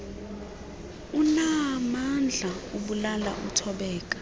unaamandla ubulala uthobeka